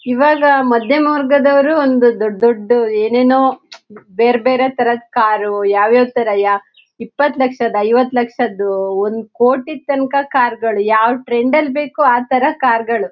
ಇವಾಗ ಮಾಧ್ಯಮ ವರ್ಗದವರು ದೊಡ್ಡ್ ದೊಡ್ಡ್ ಏನ್ ಏನೋ ಬೇರೆ ಬೇರೆ ತರಹದ ಕಾರು ಯಾವ ಯಾವತಾರ ಇಪ್ಪತ್ ಲಕ್ಷ ಐವತ್ತು ಲಕ್ಷದು ಒಂದ್ ಕೋಟಿದ್ತಂಕ ಕಾರು ಗಳು ಯಾವ ಟ್ರೆಂಡ್ ನಲ್ಲಿ ಬೇಕೋ ಅಥರ ಕಾರ್ ಗಳು.